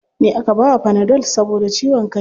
Ni aka bawa fanadol saboda ciwon kai.